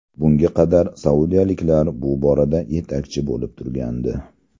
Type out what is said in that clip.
Bunga qadar saudiyaliklar bu borada yetakchi bo‘lib turgandi.